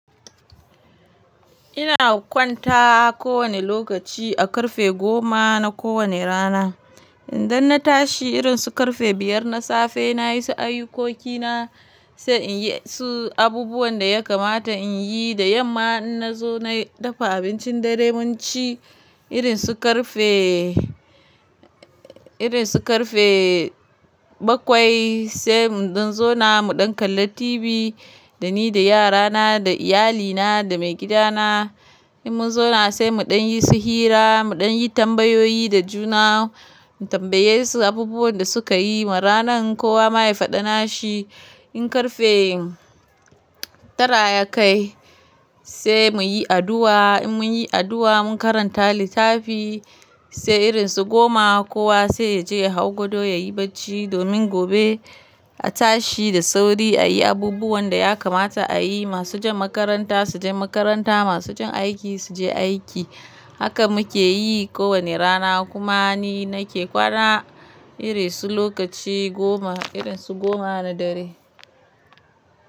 Ina kwanta ko wane lokaci a ƙarfe goma na kowane rana. Idan na tashi irin su ƙarfe biyar na safe, na yi su ayukokina sai in yi su abubuwan da ya kamata in yi. Da yamma in na zo na dafa abincin dare mun ci. Irin su ƙarfe, irin su ƙarfe bakwai sai mun ɗin zo na muɗan kalla TV da ni, da yara na, da iyali na, da mai gida na. In mun zauna sai muɗan yi su hira, muɗan yi tambayoyi da juna, mu tambaye su abubuwan da suka yi ma ranan, ko wa ma ya faɗa na shi. In ƙarfe tara ya kai sai muyi addu'a. In mun yi addu'a mun karanta littafi. Sai irin su goma kowa sai ya je ya hau gado ya yi barci domin gobe a tashi da sauri a yi abubuwan da ya kamata a yi. Masu jan makaranta su je makaranta, masu jan aiki su je aiki. Haka muke yi ko wane rana. Kuma ni nake kwana iri su lokaci goma, irin su goma na dare.